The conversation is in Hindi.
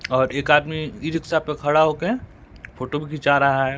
और एक आदमी ई रिक्शा पे खड़ा हो के फोटो भी खींचा रहा है।